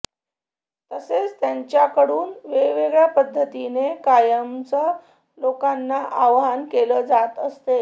तसेच त्यांच्याकडून वेगवेगळ्या पद्धतीने कायमच लोकांना आवाहन केले जात असते